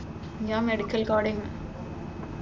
ഞാൻ medical coding.